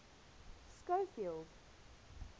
schofield